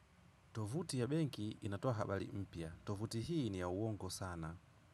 Tovuti ya benki inatoa habari mpya tovuti hii ni ya uongo sana.